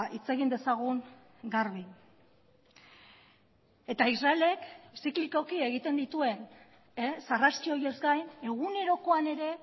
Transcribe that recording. hitz egin dezagun garbi eta israelek ziklikoki egiten dituen sarraski horiez gain egunerokoan ere